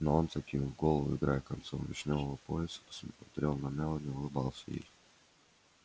но он закинув голову и играя концом вишнёвого пояса смотрел на мелани и улыбался ей